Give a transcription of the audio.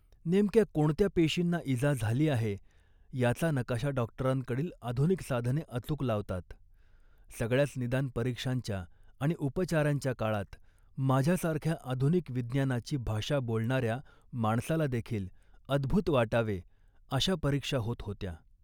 नेमक्या कोणत्या पेशींना इजा झाली आहे त्याचा नकाशा डॉक्टरांकडील आधुनिक साधने अचूक लावतात. सगळ्याच निदान परीक्षांच्या आणि उपचारांच्या काळात माझ्यासारख्या आधुनिक विज्ञानाची भाषा बोलणाऱ्या माणसालादेखील अदभुत वाटावे अशा परीक्षा होत होत्या